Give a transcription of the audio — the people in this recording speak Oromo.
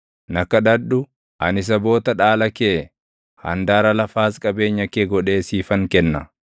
Na kadhadhu; ani saboota dhaala kee, handaara lafaas qabeenya kee godhee siifan kenna.